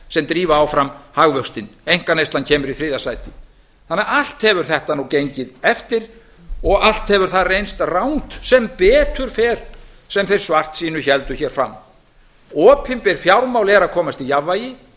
sem drífa áfram hagvöxtinn einkaneyslan kemur í þriðja sæti þannig að allt hefur gengið eftir og allt hefur það reynst rangt sem betur fer sem þeir svartsýnu héldu hér fram opinber fjármál eru að komast í jafnvægi